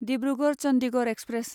Dibrugarh Chandigarh express